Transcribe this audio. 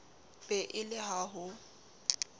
be e le ha ho